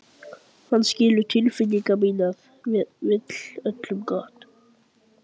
Hann skilur tilfinningar mínar, hann vill öllum gott.